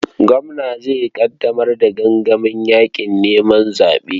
Gwamna zai ƙaddamar da gangamin yaƙin neman zaɓensa.